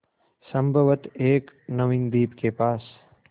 संभवत एक नवीन द्वीप के पास